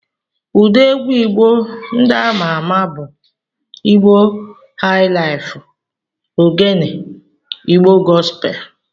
Ụdị egwu Igbo ndị ama ama bụ Igbo haịlaịfu, Ogene, Igbo gọspel.